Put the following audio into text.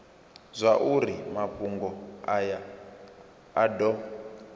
zwauri mafhungo aya a do